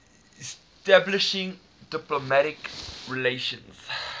establishing diplomatic relations